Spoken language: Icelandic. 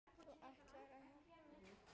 Þú ætlaðir að hjálpa mér.